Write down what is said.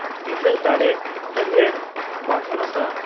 ᱛᱤᱨᱞᱟᱹ ᱫᱟᱲᱮ ᱦᱟᱹᱨᱭᱟᱲ ᱵᱟᱫᱷᱚᱱᱛᱟ